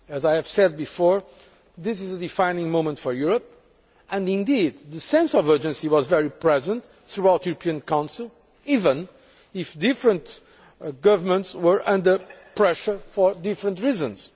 As I have said before, this is a defining moment for Europe, and indeed the sense of urgency was very present throughout the European Council, even if different governments were under pressure for different reasons.